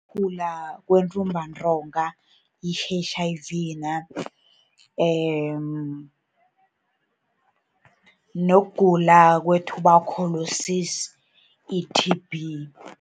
Ukugula kwentumbantonga, i-H_I_V, nokugula kwe-tuberculosis, i-T_B.